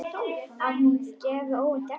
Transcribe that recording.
Að hún gefi óvænt eftir.